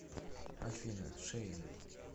афина шейм